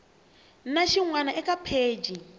na xin wana eka pheji